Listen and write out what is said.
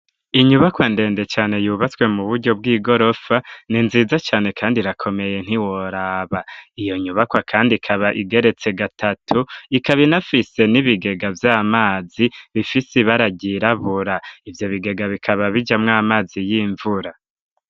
Inyubakwa, ndende cane, yubatswe mu buryo, bw'igorofa, ni nziza cane, kandi irakomeye, ntiworaba; iyo nyubakwa kandi, ikaba igeretse gatatu; ikaba, inafise n'ibigega vy'amazi, bifise ibara ryirabura; ivyo bigega, bikaba bijamwo, amazi y'imvura.